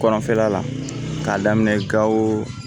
Kɔnɔfɛla la k'a daminɛ gao